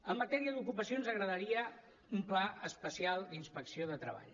en matèria d’ocupació ens agradaria un pla especial d’inspecció de treball